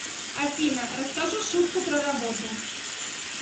афина расскажу шутку про работу